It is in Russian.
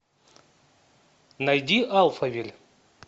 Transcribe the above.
найди альфавиль